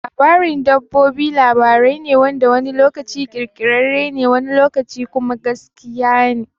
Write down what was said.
Labarin dabbobi labari ne wanda wani lokaci ƙirƙirarre ne wani lokaci kuma gaskiya ne.